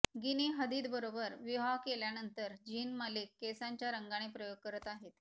guinea हदीदबरोबर विवाह केल्यानंतर झीन मलिक केसांच्या रंगाने प्रयोग करत आहेत